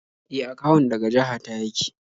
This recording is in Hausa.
E, akawun daga jaha ta yake